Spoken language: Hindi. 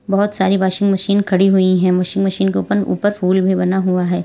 बहोत सारी वाशिंग मशीन खड़ी हुई है वाशिंग मशीन के ऊपर ऊपर फूल भी बना हुआ है।